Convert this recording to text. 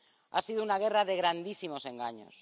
Ha sido una guerra de grandísimos engaños.